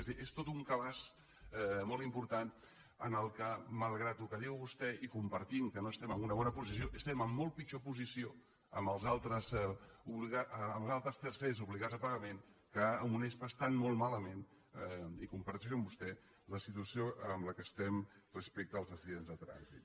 és a dir és tot un cabàs molt important en el qual malgrat el que diu vostè i compartint que no estem en una bona posició estem en molt pitjor posició amb els altres tercers obligats a pagament que amb unespa estant molt malament i ho comparteixo amb vostè la situació en què estem respecte als accidents de trànsit